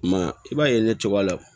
I m'a ye i b'a ye ne cogoya